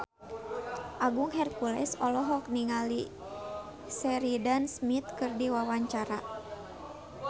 Agung Hercules olohok ningali Sheridan Smith keur diwawancara